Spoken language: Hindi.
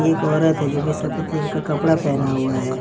एक औरत है जो की सफेद कलर कपड़ा पहना हुआ है।